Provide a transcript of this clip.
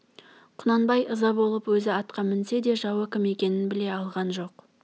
құнанбай ыза болып өзі атқа мінсе де жауы кім екенін біле алған жоқ